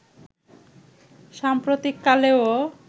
সাম্প্রতিক কালেও